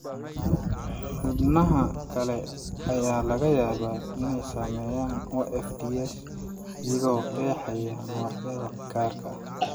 Xubnaha kale ayaa laga yaabaa inay saameeyaan OFDS, iyagoo qeexaya noocyada gaarka ah.